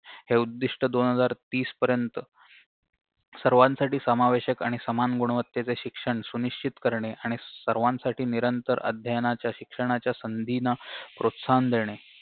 हे उद्दिष्ट दोन हजार तीस पर्यंत सर्वांसाठी समावेशक आणि सामान गुणवत्तेचे शिक्षण सुनिश्चित करणे आणि सर्वांसाठी निरंतर अध्ययनाच्या शिक्षणाच्या संधीना प्रोत्साहन देणे